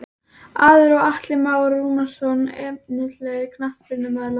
Eiður og Atli Már Rúnarsson Efnilegasti knattspyrnumaður landsins?